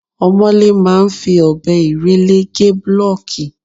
Omole máa ń fi ọbẹ irele gé bulooki.